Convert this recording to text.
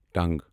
ٹنگ